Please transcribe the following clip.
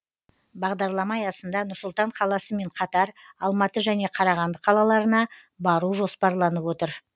бағдарлама аясында нұр сұлтан қаласымен қатар алматы және қарағанды қалаларына бару жоспарланып отыр